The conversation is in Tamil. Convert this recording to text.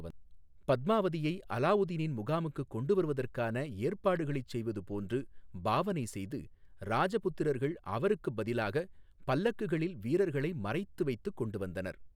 பத்மாவதியை அலாவுதீனின் முகாமுக்குக் கொண்டுவருவதற்கான ஏற்பாடுகளைச் செய்வது போன்று பாவனை செய்து ராஜபுத்திரர்கள் அவருக்குப் பதிலாகப் பல்லக்குகளில் வீரர்களை மறைத்து வைத்துக் கொண்டு வந்தனர்.